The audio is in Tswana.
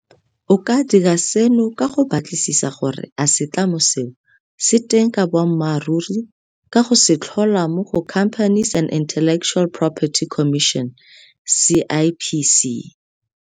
O ka dira seno ka go batlisisa gore a setlamo seo se teng ka boammaruri ka go se tlhola mo go Companies and Intellectual Property Commission CIPC.